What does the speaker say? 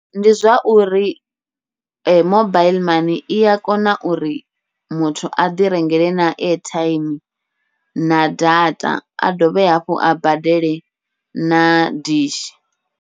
Ndi zwa uri mobaiḽi mani ia kona uri muthu aḓi rengela na airtime na data, a dovhe hafhu a badele na dishi.